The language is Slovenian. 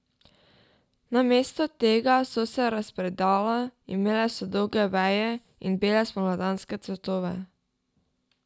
Namesto tega so se razpredala, imela so dolge veje in bele spomladanske cvetove.